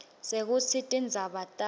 sekutsi tindzaba takho